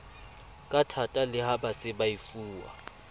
kathata le ha baseba efuwa